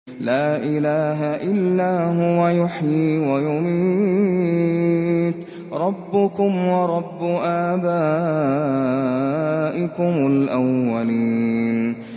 لَا إِلَٰهَ إِلَّا هُوَ يُحْيِي وَيُمِيتُ ۖ رَبُّكُمْ وَرَبُّ آبَائِكُمُ الْأَوَّلِينَ